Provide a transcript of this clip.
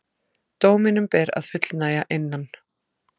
Dóminum ber að fullnægja innan